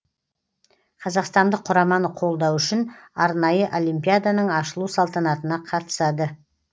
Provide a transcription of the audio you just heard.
қазақстандық құраманы қолдау үшін арнайы олимпиаданың ашылу салтанатына қатысады